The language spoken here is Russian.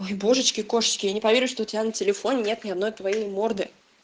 ой божечки кошечки я не поверю что у тебя на телефоне нет ни одной твоей морды